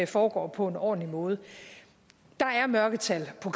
foregår på en ordentlig måde der er mørketal på